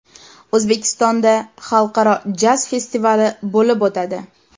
O‘zbekistonda Xalqaro jaz festivali bo‘lib o‘tadi.